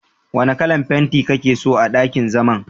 Wanna kalan fentin kake so a ɗakin zaman?